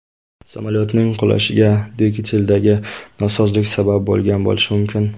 Samolyotning qulashiga dvigateldagi nosozlik sabab bo‘lgan bo‘lishi mumkin.